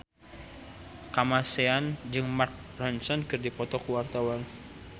Kamasean jeung Mark Ronson keur dipoto ku wartawan